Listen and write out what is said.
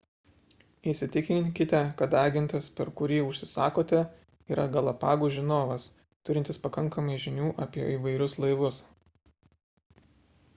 įsitikinkite kad agentas per kurį užsisakote yra galapagų žinovas turintis pakankamai žinių apie įvairius laivus